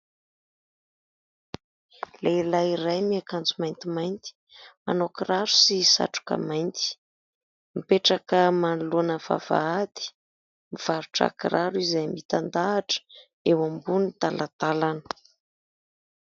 Lehilahy iray miankanjo maintimainty, manao kiraro sy satroka mainty mipetraka manoloana ny vavahady, mivarotra kiraro izay mitandahatra eo ambony talantalana.